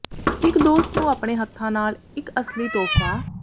ਇਕ ਦੋਸਤ ਨੂੰ ਆਪਣੇ ਹੱਥਾਂ ਨਾਲ ਇਕ ਅਸਲੀ ਤੋਹਫ਼ਾ